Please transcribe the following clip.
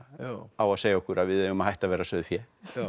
á að segja okkur að við eigum að hætta að vera sauðfé